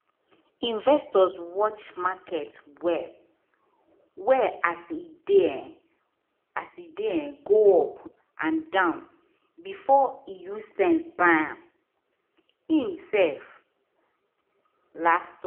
investor watch market well-well as e dey um as e dey um go up and down before e use sense buy um himself last